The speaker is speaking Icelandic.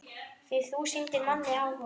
Því þú sýndir manni áhuga.